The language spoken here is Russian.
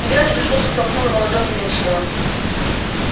илья не дослушав толкнул его ладонями от себя